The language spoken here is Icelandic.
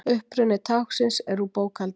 uppruni táknsins er úr bókhaldi